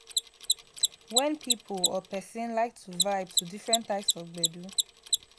wen pipo or person like to vibe to different types of gbedu